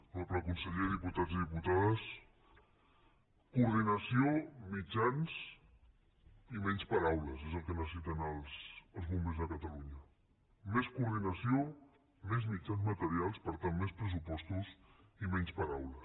honorable conseller diputats i diputades coordinació mitjans i menys paraules és el que necessiten els bombers de catalunya més coordinació més mitjans materials per tant més pressupostos i menys paraules